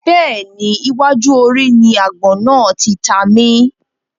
Bẹ́ẹ̀ni, iwájú orí ni àgbọ̀n náà tí ta mi